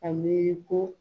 A miiri ko